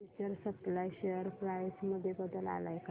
future supply share price मध्ये बदल आलाय का